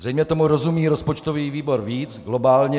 Zřejmě tomu rozumí rozpočtový výbor víc, globálně.